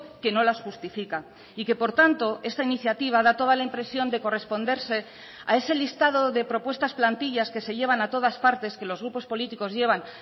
que no las justifica y que por tanto esta iniciativa da toda la impresión de corresponderse a ese listado de propuestas plantillas que se llevan a todas partes que los grupos políticos llevan